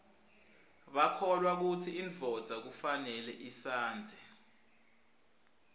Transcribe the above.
bakholwa kutsi indvodza kufanele ishadze